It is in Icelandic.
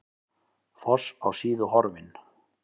Foss á Síðu horfinn